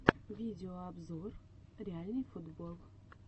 видеообзор реальный футбол